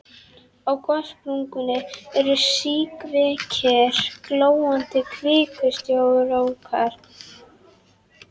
Á gossprungunni eru síkvikir glóandi kvikustrókar.